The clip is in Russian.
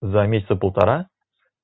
за месяца полтора